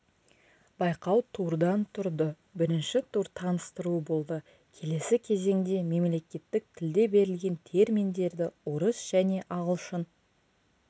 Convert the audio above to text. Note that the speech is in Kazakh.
байқау турдан тұрды бірінші тур таныстыру болды келесі кезеңде мемлекеттік тілде берілген терминдерді орыс және ағылшын